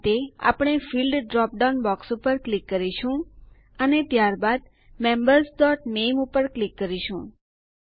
તે માટે આપણે ફિલ્ડ્સ ડ્રોપ ડાઉન બોક્સ ઉપર ક્લિક કરીશું અને ત્યારબાદ membersનામે ઉપર ક્લિક કરીશું